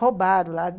roubaram lá.